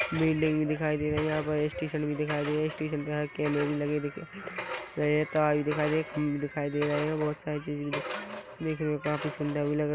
building भी दिखाई दे रही है यहाँ पे स्टेशन भी दिखाई दे रहास्टेशन के भी लगे दिख रहे है तार भी दिखाई दे रहे खंभे भी दिख-- दिखाई दे रहे बहुत सारे चीज दिख रही है काफी सुंदर भी लग--